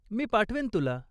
मी पाठवेन तुला.